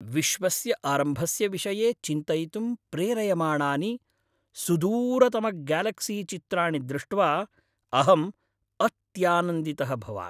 विश्वस्य आरम्भस्य विषये चिन्तयितुं प्रेरयमाणानि सुदूरतमग्यालक्सीचित्राणि दृष्ट्वा अहम् अत्यानन्दितः भवामि।